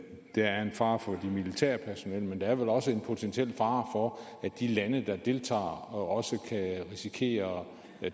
der er en fare for det militære personel men der er vel også en potentiel fare for at de lande der deltager også kan risikere